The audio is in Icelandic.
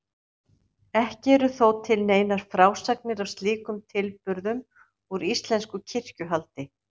Ekki eru þó til neinar frásagnir af slíkum tilburðum úr íslensku kirkjuhaldi.